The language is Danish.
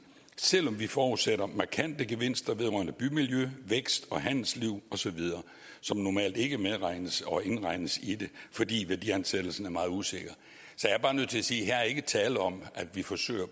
selv om vi forudsætter markante gevinster vedrørende bymiljø vækst handelsliv osv som normalt ikke medregnes og indregnes i det fordi værdiansættelsen er meget usikker så jeg er bare nødt til at sige at her er der ikke tale om at vi forsøger